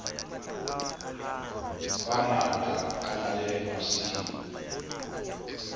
bangata ba na le masimo